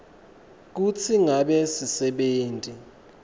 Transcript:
kutsi ngabe sisebenti